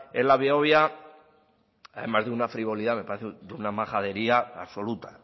en la behobia más que una frivolidad me parece de una majadería absoluta